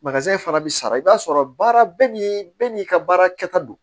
fana bɛ sara i b'a sɔrɔ baara bɛɛ n'i bɛɛ n'i ka baara kɛta don